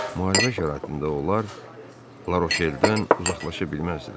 Müharibə şəraitində onlar Larocheldən uzaqlaşa bilməzdilər.